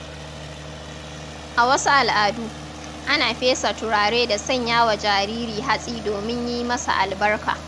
A wasu al’adu, ana fesa turare da sanya wa jariri hatsi domin yi masa albarka.